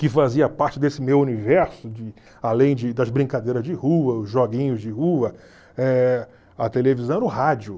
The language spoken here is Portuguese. que fazia parte desse meu universo, de além de das brincadeiras de rua, os joguinhos de rua, eh a televisão era o rádio.